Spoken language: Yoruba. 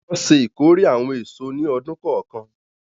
Wọn ṣe ìkórè awọn eso ni ọdun kọọkan.